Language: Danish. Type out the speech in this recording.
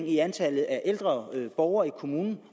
i antallet af ældre borgere i kommunen